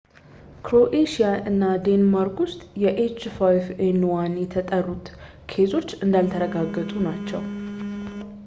ክሮኤሺያ እና ዴንማርክ ውስጥ የ ኤች5ኤን1 የተጠረጠሩ ኬዞች እንዳልተረጋገጡ ናቸው